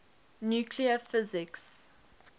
nuclear physics